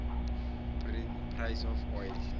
price of oil